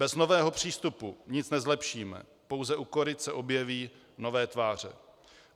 Bez nového přístupu nic nezlepšíme, pouze u koryt se objeví nové tváře.